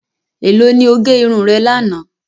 Ẹ̀lọ́ ni o gé irun rẹ̀ lana?